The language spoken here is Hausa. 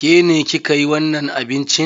Ke ne ki ka yi wannan abincin?